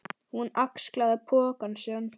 Hún axlaði poka sinn.